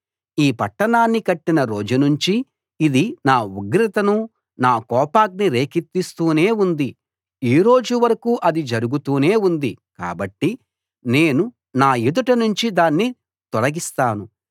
ఈ పట్టణాన్ని కట్టిన రోజు నుంచి ఇది నా ఉగ్రతను నా కోపాన్ని రేకెత్తిస్తూనే ఉంది ఈ రోజు వరకూ అది జరుగుతూనే ఉంది కాబట్టి నేను నా ఎదుట నుంచి దాన్ని తొలగిస్తాను